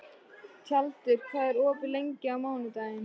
Tjaldur, hvað er opið lengi á mánudaginn?